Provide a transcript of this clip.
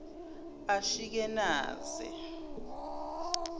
ashikenaze